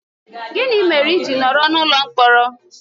Gịnị mere i ji nọrọ n'ụlọ mkpọrọ?